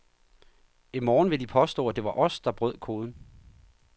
I morgen vil de påstå, at det var os, der brød koden.